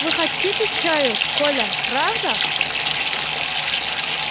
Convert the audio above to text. вы хотите чаю коля правда